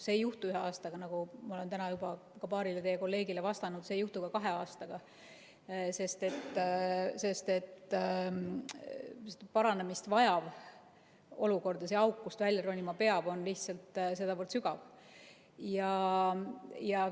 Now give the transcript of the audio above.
See ei juhtu ühe aastaga, nagu ma olen täna juba ka paarile teie kolleegile vastanud, see ei juhtu ka kahe aastaga, sest et parandamist vajav olukord ja see auk, kust välja ronima peab, on lihtsalt sedavõrd sügav.